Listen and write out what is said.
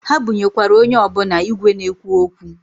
Ha bunyekwara onye ọbụna igwe na-ekwu okwu.